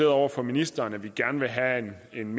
over for ministeren at vi gerne vil have en